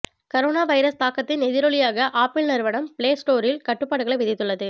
corona virus தாக்கத்தின் எதிரொலியாக Apple நிறுவனம் பிளே ஸ்டோரில் கட்டுப்பாடுகளை விதித்துள்ளது